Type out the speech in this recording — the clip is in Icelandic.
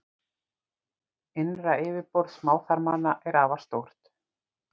Innra yfirborð smáþarmanna er afar stórt.